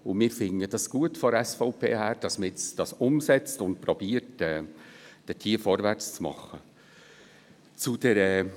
Wir von der SVP finden es gut, dass man dies jetzt umsetzt und hier vorwärtszumachen versucht.